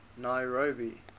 nairobi